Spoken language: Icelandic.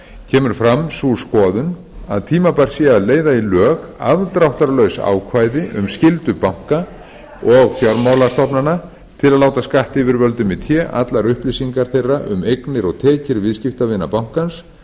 kemur fram sú skoðun að tímabært sé að leiða í lög afdráttarlaus ákvæði um skyldu banka og fjármálastofnana til að láta skattyfirvöldum í té allar upplýsingar þeirra um eignir og tekjur viðskiptavina bankans